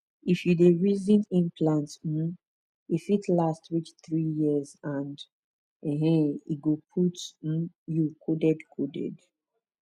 if you dey reason implant um e fit last reach three years and um e go protect um you coded coded